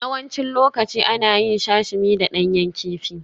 Yawancin lokaci ana yin Sashimi da ɗanyen kifi